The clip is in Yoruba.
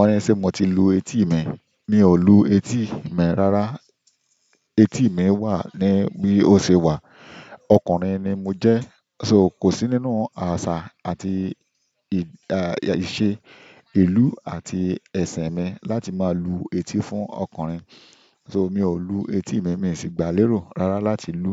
"Oní sí mo ti lu etí mi", mi ò lu etí mi rárá. Etí mi wà ní bí ó ṣe wà, ọkùnrin ni mo jẹ́ so kò sí nínú àṣà àti ìṣe ìlú àti ẹ̀sìn mi láti máa lu etí fún ọkùnrin. So mi ò lu etí mi, mi sì gbà lérò rárá láti lu